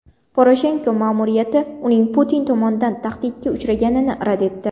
Poroshenko ma’muriyati uning Putin tomonidan tahdidga uchraganini rad etdi.